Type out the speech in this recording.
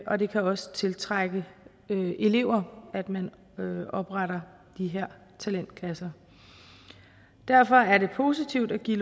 og det kan også tiltrække elever at man opretter de her talentklasser derfor er det positivt at give